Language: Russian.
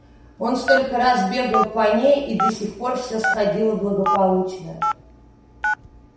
он столько раз бегал по ней и до сих пор все сходило благополучно